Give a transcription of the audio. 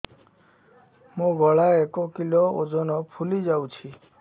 ମୋ ଗଳା ଏକ କିଲୋ ଓଜନ ଫୁଲି ଯାଉଛି